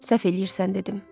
Səhv eləyirsən dedim.